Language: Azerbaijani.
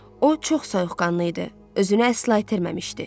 O çox soyuqqanlı idi, özünü əsla itirməmişdi.